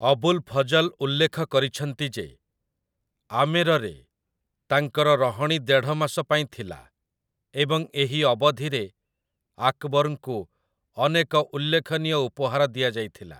ଅବୁଲ୍ ଫଜଲ୍ ଉଲ୍ଲେଖ କରିଛନ୍ତି ଯେ ଆମେରରେ ତାଙ୍କର ରହଣୀ ଦେଢ଼ ମାସ ପାଇଁ ଥିଲା ଏବଂ ଏହି ଅବଧିରେ ଆକବରଙ୍କୁ ଅନେକ ଉଲ୍ଲେଖନୀୟ ଉପହାର ଦିଆଯାଇଥିଲା ।